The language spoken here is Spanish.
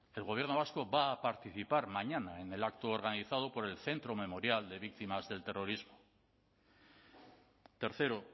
el gobierno vasco va a participar mañana en el acto organizado por el centro memorial de víctimas del terrorismo tercero